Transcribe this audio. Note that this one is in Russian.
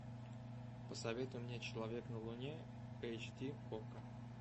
посоветуй мне человек на луне эйч ди окко